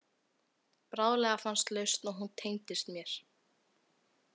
Bráðlega fannst lausn og hún tengdist mér.